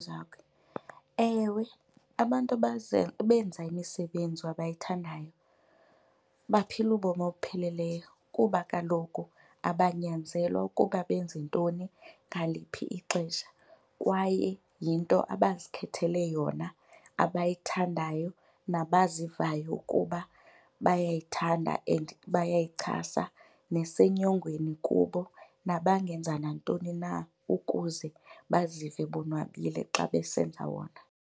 Ewe, abantu ebenza imisebenzi abayithandayo baphila ubomi obupheleleyo kuba kaloku abanyanzelwa ukuba benze ntoni ngaliphi ixesha. Kwaye yinto abazikhethele yona, abayithandayo nabazivayo ukuba bayayithanda and bayayichasa nesenyongweni kubo, nabangenza nantoni na ukuze bazive bonwabile xa besenza wona.